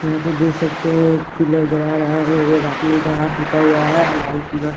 यहाँ पे देख सकते हैं एक पिलर गरा रहा है एक आदमी का हाथ टूटा हुआ है अ लाल पिला।